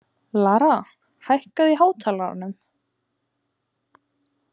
Lara, hækkaðu í hátalaranum.